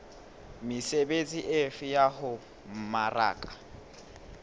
mesebetsi efe ya ho mmaraka